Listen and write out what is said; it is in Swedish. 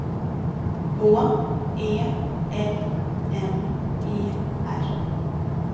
H E L M E R